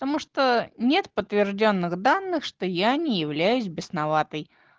потому что нет подтверждённых данных что я не являюсь бесноватой